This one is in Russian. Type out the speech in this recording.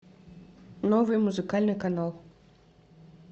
новый музыкальный канал